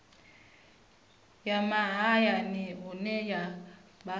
ya mahayani hune ha vha